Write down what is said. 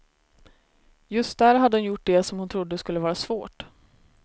Just där hade hon gjort det som hon trodde skulle vara svårt.